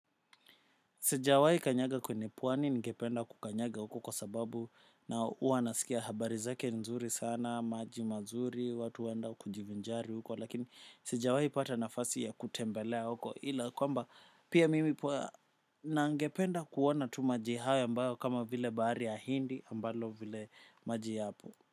Sijawai kanyaga kwenye pwani ningependa kukanyaga huko kwa sababu na huwa nasikia habari zake nzuri sana, maji mazuri, watu huenda kujivinjari huko lakini sijawai pata nafasi ya kutembelea huko ila kwamba pia mimi na ningependa kuona tu maji hayo ambayo kama vile bahari ya hindi ambalo vile maji yapo.